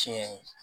Tiɲɛ ye